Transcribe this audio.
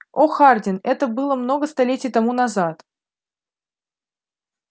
о хардин это было много столетий тому назад